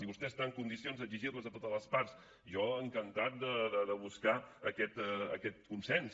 i vostè està en condicions d’exigir les a totes les parts jo encantat de buscar aquest consens